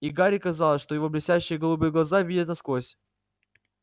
и гарри казалось что его блестящие голубые глаза видят насквозь